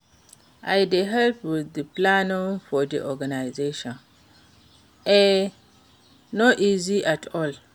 I dey help with di planning for di organisation, e no easy at all.